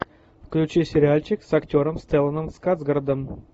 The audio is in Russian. включи сериальчик с актером стелланом скарсгардом